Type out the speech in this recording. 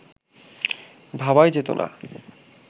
ভাবাই যেত না